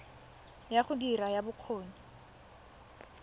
ya go dira ya bokgoni